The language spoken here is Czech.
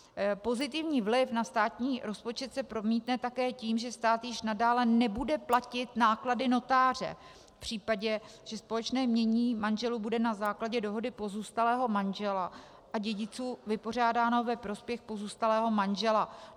Pozitivní vliv na státní rozpočet se promítne také tím, že stát již nadále nebude platit náklady notáře v případě, že společné jmění manželů bude na základě dohody pozůstalého manžela a dědiců vypořádáno ve prospěch pozůstalého manžela.